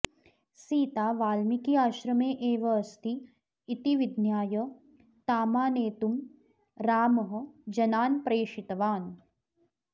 सीता वाल्मीकिआश्रमे एवास्ति इति विज्ञाय तामानेतुं रामः जनान् प्रेषितवान्